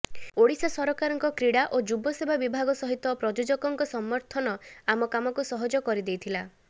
ଓଡ଼ିଶା ସରକାରଙ୍କ କ୍ରୀଡ଼ା ଓ ଯୁବସେବା ବିଭାଗ ସହିତ ପ୍ରାୟୋଜକଙ୍କ ସମର୍ଥନ ଆମ କାମକୁ ସହଜ କରି ଦେଇଥିଲା